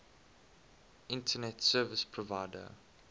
internet service provider